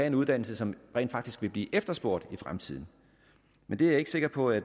en uddannelse som rent faktisk vil blive efterspurgt i fremtiden men det er jeg ikke sikker på at